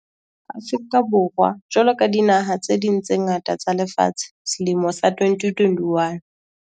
Afrika Borwa jwalo ka dinaha tse ding tse ngata tsa lefatshe, selemo sa 2021